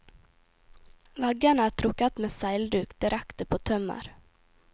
Veggene er trukket med seilduk direkte på tømmer.